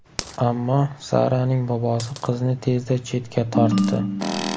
Ammo Saraning bobosi qizni tezda chetga tortdi.